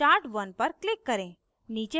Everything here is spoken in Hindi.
chart1 1 पर click करें